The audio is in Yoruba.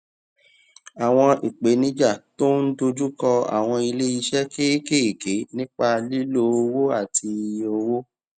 àwọn ìpèníjà tó ń dojú kọ àwọn ilé iṣé kéékèèké nípa lílo owó àti iye owó